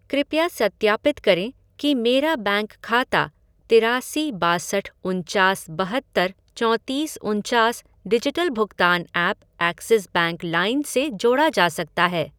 कृपया सत्यापित करें कि मेरा बैंक खाता तिरासी बासठ उनचास बहत्तर चोतीस उनचास डिजिटल भुगतान ऐप एक्सिस बैंक लाइन से जोड़ा जा सकता है